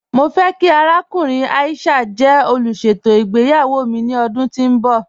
Mọ fẹ̀ kí àràkùnrìn Aisha jẹ́ olúṣetò ìgbéyàwó mi ni ọdún tó nbọ̀.